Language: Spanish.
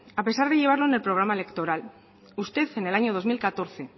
a pesar de llevarlo en el programa electoral usted en el año dos mil catorce